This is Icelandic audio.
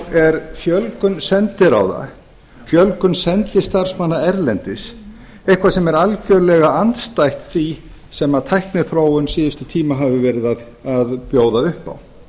er fjölgun sendiráða fjölgun sendistarfsmanna erlendis eitthvað sem er algjörlega andstætt því sem tækniþróun síðustu tíma hefur verið að bjóða upp á